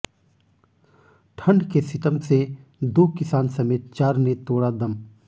ठंड के सितम से दो किसान समेत चार ने तोड़ा दम